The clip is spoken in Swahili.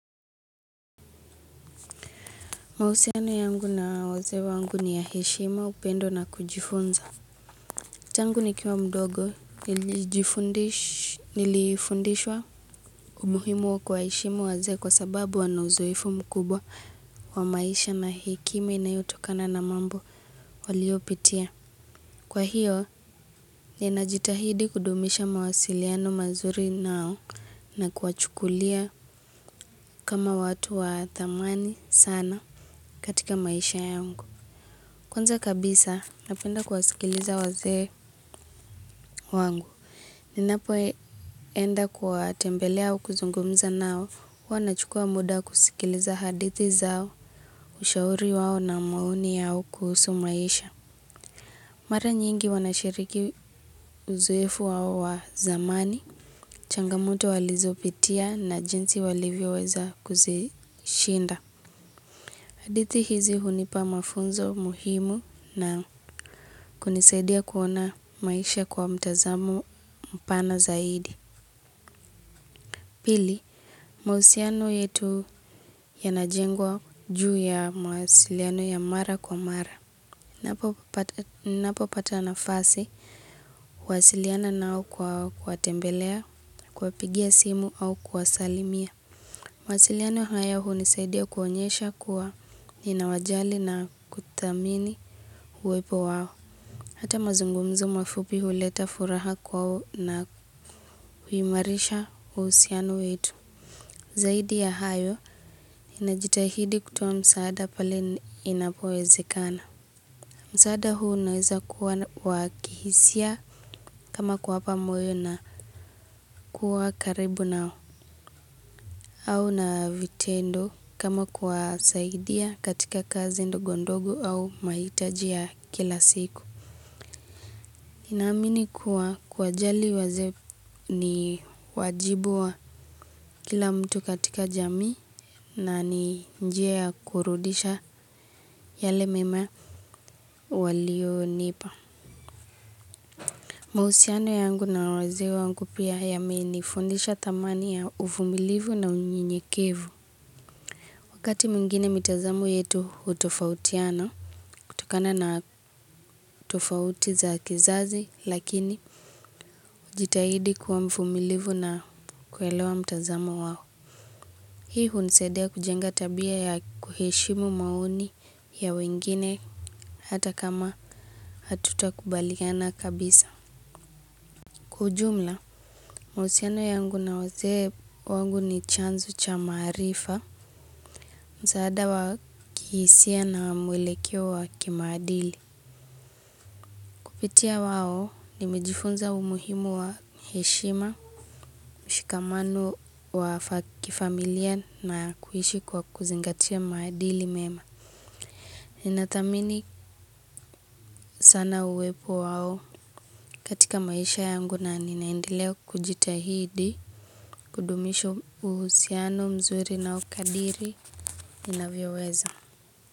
Mausiano yangu na wazee waangu ni ya heshima upendo na kujifunza. Tangu nikiwa mdogo nilifundishwa umuhimu wa kuwaheshimu wazee kwa sababu wana uzoefu mkubwa wa maisha na hekima inayotokana na mambo walio pitia. Kwa hiyo ninajitahidi kudumisha mawasiliano mazuri nao na kuwachukulia kama watu wa thamani sana katika maisha yangu. Kwanza kabisa, napenda kuwasikiliza wazee wangu. Ninapoenda kuwatembele au kuzungumza nao. Huwa nachukua muda kusikiliza hadithi zao, ushauri wao na maoni yao kuhusu maisha. Mara nyingi wanashiriki uzoefu wao wa zamani, changamoto walizopitia na jinsi walivyo weza kuzishinda. Adithi hizi hunipa mafunzo muhimu na kunisaidia kuona maisha kwa mtazamo mpana zaidi. Pili, mausiano yetu yanajengwa juu ya mawasiliano ya mara kwa mara. Napo pata nafasi, huasiliana nao kwa kuwatembelea, kuwapigia simu au kuwasalimia. Masiliano haya hunisaidia kuonyesha kuwa ninawajali na kuthamini huwepo wao. Hata mazungumzo mafupi huleta furaha kwao na huimarisha usiano wetu. Zaidi ya hayo ninajitahidi kutoa msaada pale inapowezekana. Msaada huu naweza kuwa wakihisia kama kuwapa moyo na kuwa karibu nao. Au na vitendo kama kuwasaidia katika kazi ndogondogo au maitaji ya kila siku. Naamini kuwa kuwajali wazee ni wajibu wa kila mtu katika jamii na ni njia ya kurudisha yale mema walio nipa. Mausiano yangu na wazee wangu pia yame nifundisha thamani ya uvumilivu na unyenyekevu. Wakati mwingine mitazamo yetu hutofautiana. Tokana na tofauti za kizazi lakini hujitahidi kuwa mfumilivu na kuelewa mtazamo wao. Hii hunisadia kujenga tabia ya kuheshimu maoni ya wengine hata kama hatutakubaliana kabisa. Kwa ujumla, mausiano yangu na wazee wangu ni chanzo cha maarifa msaada wa kihisia na mwelekeo wa kimaadili. Kupitia wao, nimejifunza umuhimu wa heshima, mshikamano wa kifamilia na kuishi kwa kuzingatia maadili mema. Nathamini sana uwepo wao katika maisha yangu na ninaendelea kujitahidi, kudumisho uhusiano mzuri na ukadiri inavyoweza.